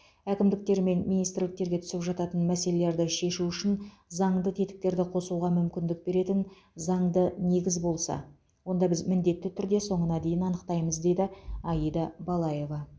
әкімдіктер мен министрліктерге түсіп жататын мәселелерді шешу үшін заңды тетіктерді қосуға мүмкіндік беретін заңды негіз болса онда біз міндетті түрде соңына дейін анықтаймыз деді аида балаева